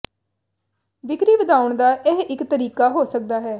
ਵਿਕਰੀ ਵਧਾਉਣ ਦਾ ਇਹ ਇਕ ਤਰੀਕਾ ਹੋ ਸਕਦਾ ਹੈ